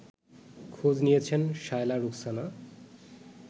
খোঁজ নিয়েছেন শায়লা রুখসানা